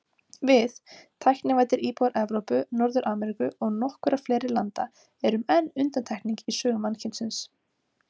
Við, tæknivæddir íbúar Evrópu, Norður-Ameríku og nokkurra fleiri landa, erum enn undantekning í sögu mannkynsins.